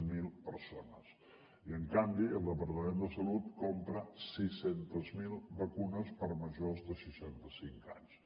zero persones i en canvi el departament de salut compra sis cents miler vacunes per a majors de seixanta cinc anys